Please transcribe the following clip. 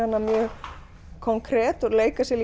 hana mjög konkret og leika sér